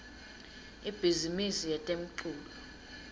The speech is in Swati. ibhizimisi yetemculo